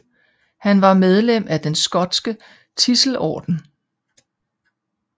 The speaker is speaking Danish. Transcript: Han var medlem af den skotske Tidselordenen